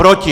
Proti!